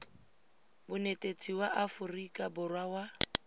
bonetetshi ya aforika borwa wa